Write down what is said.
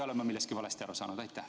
Kas ma olen millestki valesti aru saanud?